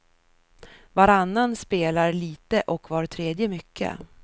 Varannan spelar lite och var tredje mycket.